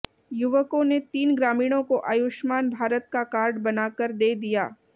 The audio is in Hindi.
युवकों ने तीन ग्रामीणों को आयुष्मान भारत का कार्ड बनाकर दे दिया